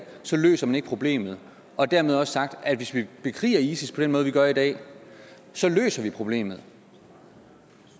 så løser man ikke problemet og dermed også sagt at hvis vi bekriger isis på den måde vi gør i dag så løser vi problemet